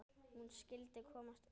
Hún skyldi komast út!